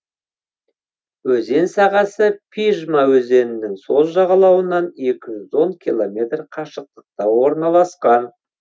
өзен сағасы пижма өзенінің сол жағалауынан екі жүз он километр қашықтықта орналасқан